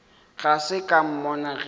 ga se ka mmona ge